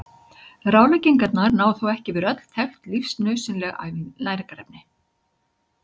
Ráðleggingarnar ná þó ekki yfir öll þekkt lífsnauðsynleg næringarefni.